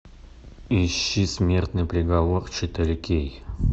ищи смертный приговор четыре кей